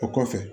O kɔfɛ